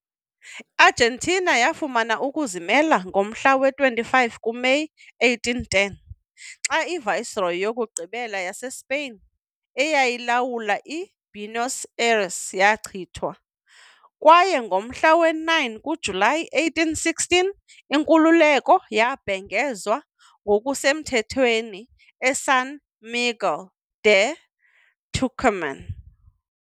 I-Argentina yafumana ukuzimela ngomhla wama-25 kuMeyi 1810 xa i -viceroy yokugqibela yaseSpain eyayilawula eBuenos Aires yachithwa, kwaye ngomhla we-9 kaJulayi 1816, inkululeko yabhengezwa ngokusemthethweni eSan Miguel de Tucumán.